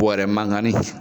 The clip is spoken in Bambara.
Bɔrɛ mankanni.